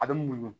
A bɛ muɲu